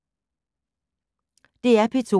DR P2